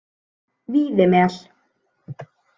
Víðimel